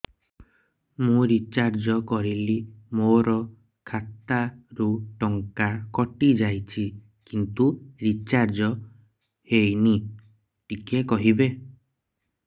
ମୁ ରିଚାର୍ଜ କରିଲି ମୋର ଖାତା ରୁ ଟଙ୍କା କଟି ଯାଇଛି କିନ୍ତୁ ରିଚାର୍ଜ ହେଇନି ଟିକେ କହିବେ